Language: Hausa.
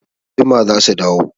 Anjima za su dawo.